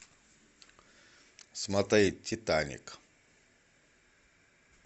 смотреть титаник